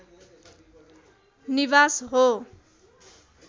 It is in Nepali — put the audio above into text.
निवास हो